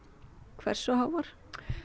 hversu háar